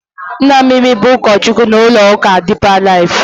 Nna Mimi bụ ụkọchukwu n'ụlọụka Dipa Laif.